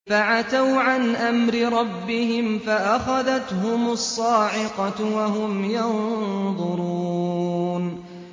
فَعَتَوْا عَنْ أَمْرِ رَبِّهِمْ فَأَخَذَتْهُمُ الصَّاعِقَةُ وَهُمْ يَنظُرُونَ